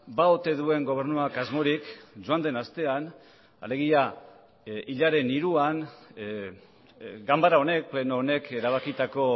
ba ote duen gobernuak asmorik joan den astean alegia hilaren hiruan ganbara honek pleno honek erabakitako